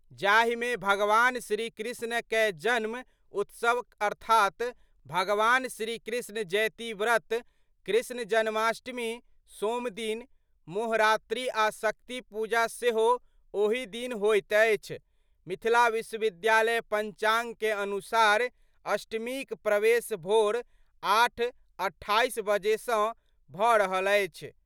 जाहि में भगवान श्री कृष्ण कए जन्म उत्सव अर्थात भगवान श्रीकृष्ण जयतीव्रत, कृष्ण जन्माष्टमी, सोम दिन, मोहरात्रि आ शक्ति पूजा सेहो ओही दिन होइत अछि मिथिला विश्वविद्यालय पंचांग कए अनुसार अष्टमी क प्रवेश भोर 08.28 बजे सँ भ रहल अछि।